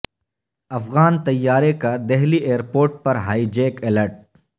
افغان طیارے کا دہلی ایئرپورٹ پر ہائی جیک الرٹ